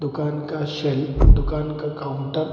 दुकान का सेल दुकान का काउंटर --